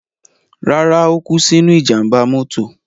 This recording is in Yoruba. Rárá, ó kú sínú ìjàmbá mọ́tò.